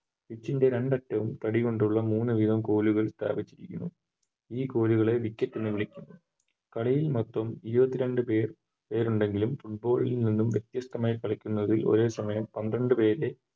Pitch ൻറെ രണ്ടറ്റവും തടികൊണ്ടുള്ള മൂന്ന് വീതം കോലുകൾ സ്ഥാപിച്ചിരിക്കുന്നു ഈ കോലുകളെ Wicket എന്ന് വിളിക്കുന്നു കളിയിൽ മറ്റും ഇരുപത്തിരണ്ട്പേർ പേരുണ്ടെങ്കിലും Football ൽ നിന്നും വ്യത്യസ്ഥമായി കളിക്കുന്നൊരു ഒരേ സമയം പന്ത്രണ്ട് പേരെ